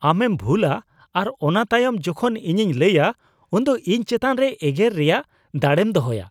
ᱟᱢᱮᱢ ᱵᱷᱩᱞᱟ ᱟᱨ ᱚᱱᱟ ᱛᱟᱭᱚᱢ ᱡᱚᱠᱷᱚᱱ ᱤᱧᱤᱧ ᱞᱟᱹᱭᱟ ᱩᱱᱫᱚ ᱤᱧ ᱪᱮᱛᱟᱱ ᱨᱮ ᱮᱜᱮᱨ ᱨᱮᱭᱟᱜ ᱫᱟᱲᱮᱢ ᱫᱚᱦᱚᱭᱟ ᱾